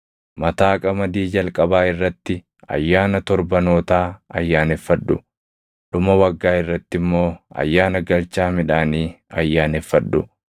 “Mataa qamadii jalqabaa irratti Ayyaana Torbanootaa ayyaaneffadhu; dhuma waggaa irratti immoo ayyaana galchaa midhaanii ayyaaneffadhu.